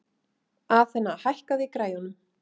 Athena, hækkaðu í græjunum.